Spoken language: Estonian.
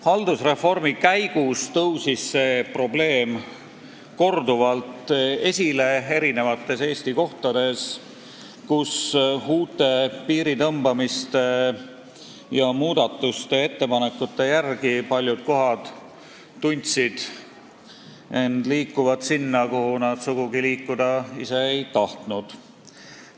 Haldusreformi käigus tõusis see probleem korduvalt esile mitmel pool Eestis, kus inimesed tundsid end uute piiride tõmbamise ja muude muudatuste tõttu liikuvat sinna, kuhu nad sugugi liikuda ei tahtnud.